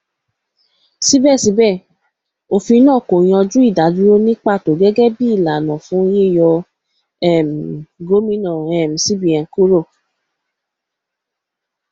síbẹsíbẹ òfin náà kò yanjú ìdádúró ní pàtó gẹgẹ bí ìlànà fún yíyọ um gómìnà um cbn kúrò